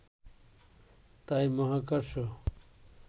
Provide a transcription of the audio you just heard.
তাই মহাকর্ষ